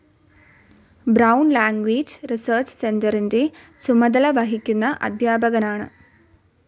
Brown language research സെൻ്ററിൻ്റെ ചുമതല വഹിക്കുന്ന അധ്യാപകനാണ്.